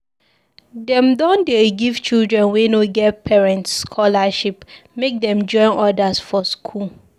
Dem don dey give children wey no get parents scholarship make dem join others for skool.